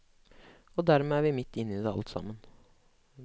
Og dermed er vi midt inne i det alt sammen.